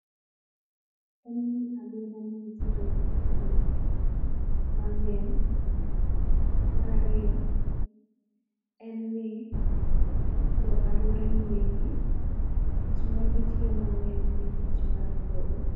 En ni aluora ni nitiere gi ji mangeny. Mar ariyo, en ni jo aluora ni endi tich ma gi tiyo ma ng'eny en tich mar puodho.